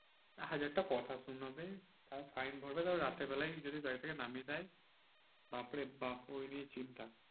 হাজারটা কথা শোনাবে। তারপর fine ভরবে তারপর রাতের বেলায় যদি গাড়ি থেকে নামিয়ে দেয়। বাপ্ রে বাপ্ ওই নিয়ে চিন্তা।